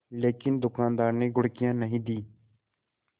लेकिन दुकानदार ने घुड़कियाँ नहीं दीं